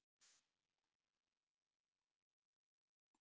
jafnvel lagt sitt af mörkum til að bíllinn færi út af.